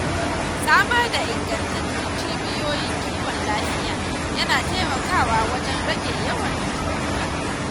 Samar da ingantattun cibiyoyin kiwon lafiya yana taimakawa wajen rage yawan cutuka.